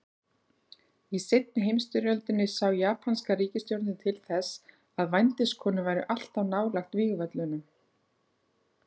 Í seinni heimsstyrjöldinni sá japanska ríkisstjórnin til þess að vændiskonur væru alltaf nálægt vígvöllunum.